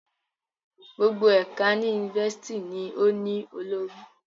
Gbogbo ẹka ni University ni o ni olori